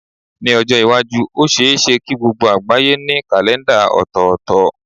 Ní ọjọ́ iwájú, ó ṣe é ṣe kí gbogbo àgbáyé ní kàlèńdà ọ̀tọ̀ọ̀tọ̀.